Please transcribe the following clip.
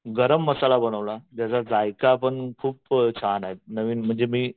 गरम मसाला बनवला ज्याचा जायका पण खूप छान आहे नवीन म्हणजे मी